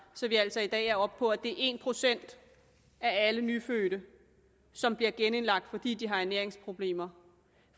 så vi altså i dag er oppe på at det er en procent af alle nyfødte som bliver genindlagt fordi de har ernæringsproblemer